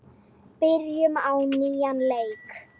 Byrjum á nýjan leik.